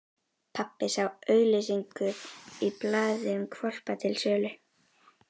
Pabbi sá auglýsingu í blaði um hvolpa til sölu.